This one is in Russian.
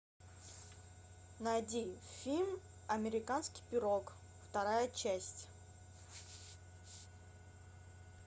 найди фильм американский пирог вторая часть